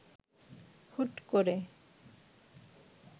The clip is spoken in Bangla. হুট করে